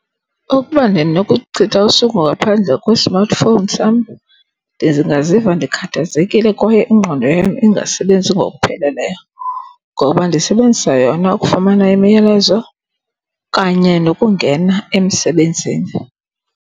Ukuba ndinokuchitha usuku ngaphandle kwe-smartphone sam ndingaziva ndikhathazekile kwaye ingqondo yam ingasebenzi ngokupheleleyo, ngoba ndisebenzisa yona ukufumana imiyalezo kanye nokungena emsebenzini.